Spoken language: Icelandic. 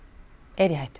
er í hættu